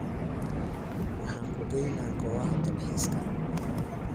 Waxan kugeynax gowax dalkxiska.